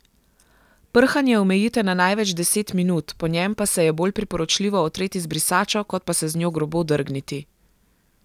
Prhanje omejite na največ deset minut, po njem pa se je bolj priporočljivo otreti z brisačo kot pa se z njo grobo drgniti.